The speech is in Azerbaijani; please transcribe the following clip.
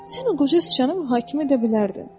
Sən o qoca sıçanı mühakimə edə bilərdin.